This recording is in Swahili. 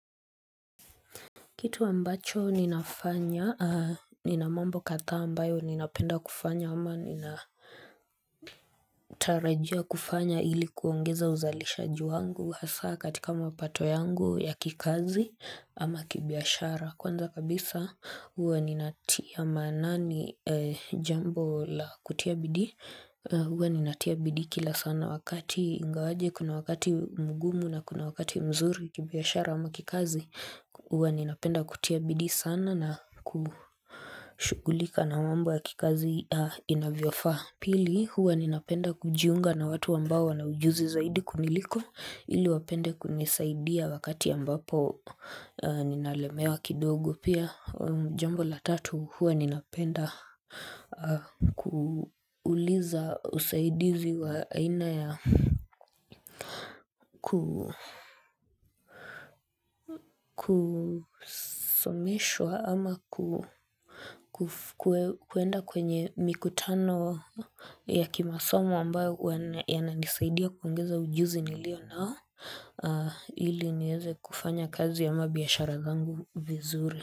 Kitu ambacho ninafanya, nina mambo kadhaa ambayo ninapenda kufanya ama nina tarajia kufanya ili kuongeza uzalishaji wangu hasa katika mapato yangu ya kikazi ama kibiashara. Kwanza kabisa huwa ninatia maanani jambo la kutia bidii Huwa ninatia bidii kila sana wakati ingawaje, kuna wakati mgumu na kuna wakati mzuri kibiashara ama kikazi Huwa ninapenda kutia bidii sana na kushughulika na mambo ya kikazi inavyofaa Pili huwa ninapenda kujiunga na watu ambao wana ujuzi zaidi kuniliko ili wapende kunisaidia wakati ambapo ninalemewa kidogo. Pia jambo la tatu huwa ninapenda kuuliza usaidizi wa aina ya kusomeshwa ama kuenda kwenye mikutano ya kimasomo ambayo yananisaidia kuingiza ujuzi nilio nao. Hili nieze kufanya kazi ama biashara zangu vizuri.